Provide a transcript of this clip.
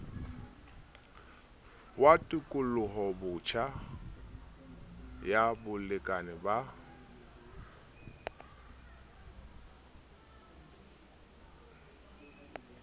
wa tekolobotjha ya bolekane ba